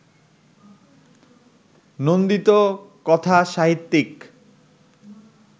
নন্দিত কথাসাহিত্যিক